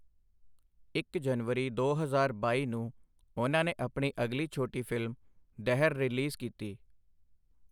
ਇੱਕ ਜਨਵਰੀ ਦੋ ਹਜ਼ਾਰ ਬਾਈ ਨੂੰ ਉਨ੍ਹਾਂ ਨੇ ਆਪਣੀ ਅਗਲੀ ਛੋਟੀ ਫਿਲਮ 'ਦਹਰ' ਰਿਲੀਜ਼ ਕੀਤੀ।